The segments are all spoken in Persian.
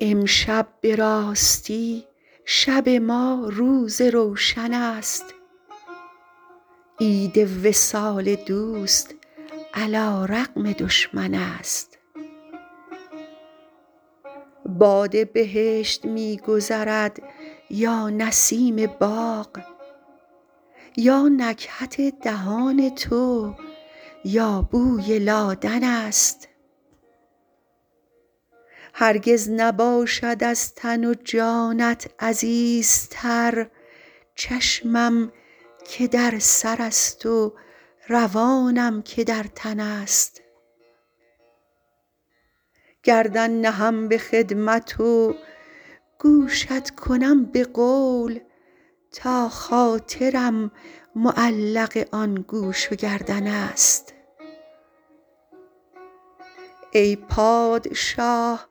امشب به راستی شب ما روز روشن است عید وصال دوست علی رغم دشمن است باد بهشت می گذرد یا نسیم باغ یا نکهت دهان تو یا بوی لادن است هرگز نباشد از تن و جانت عزیزتر چشمم که در سرست و روانم که در تن است گردن نهم به خدمت و گوشت کنم به قول تا خاطرم معلق آن گوش و گردن است ای پادشاه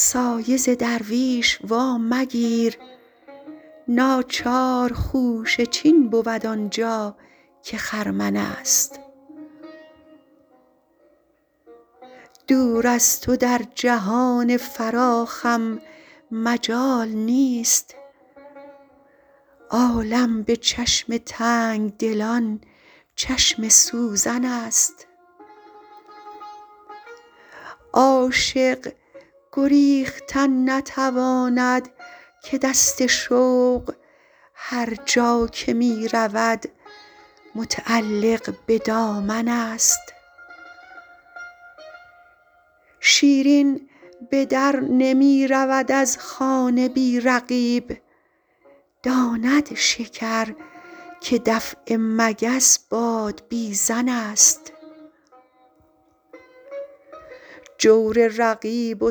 سایه ز درویش وامگیر ناچار خوشه چین بود آن جا که خرمن است دور از تو در جهان فراخم مجال نیست عالم به چشم تنگ دلان چشم سوزن است عاشق گریختن نتواند که دست شوق هر جا که می رود متعلق به دامن است شیرین به در نمی رود از خانه بی رقیب داند شکر که دفع مگس بادبیزن است جور رقیب و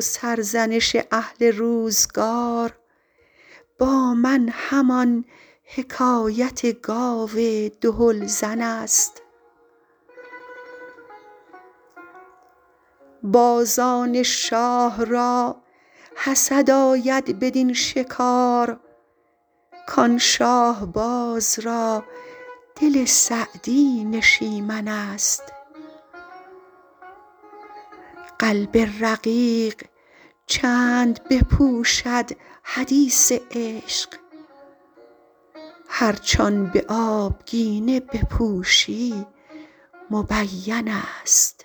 سرزنش اهل روزگار با من همان حکایت گاو دهل زن است بازان شاه را حسد آید بدین شکار کان شاهباز را دل سعدی نشیمن است قلب رقیق چند بپوشد حدیث عشق هرچ آن به آبگینه بپوشی مبین است